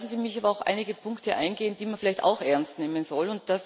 Lassen Sie mich aber auf einige Punkte eingehen, die man vielleicht auch ernst nehmen soll.